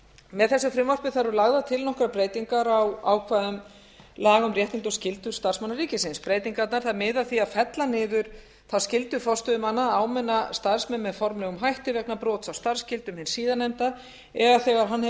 með þessu frumvarpi eru lagðar til nokkrar breytingar á ákvæðum laga um réttindi og skyldur starfsmanna ríkisins breytingarnar miða að því að fella niður þá skyldu forstöðumanna að áminna starfsmenn með formlegum hætti vegna brota á starfsskyldum hins síðarnefnda eða þegar hann hefur